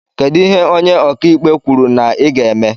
Kedụ ihe ónyé ọkà ikpe kwụrụ na i ga-eme?